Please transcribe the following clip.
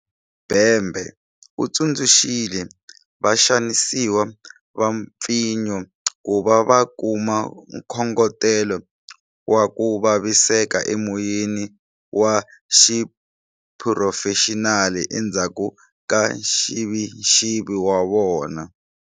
Bhembe u tsundzuxile vaxanisiwa va mpfinyo ku va va kuma nkhongotelo wa ku vaviseka emoyeni wa xiphurofexinali endzhaku ka nxivixivi wa vona.